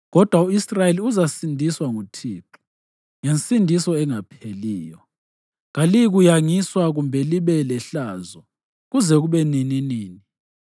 Kodwa u-Israyeli uzasindiswa nguThixo ngensindiso engapheliyo; kaliyikuyangiswa kumbe libe lehlazo kuze kube nininini.